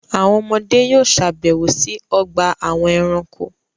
Àwọn ọmọdé yóò sàbẹ̀wò sí ọgbà-àwọn ẹranko.